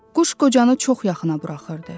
Quş qocanı çox yaxına buraxırdı.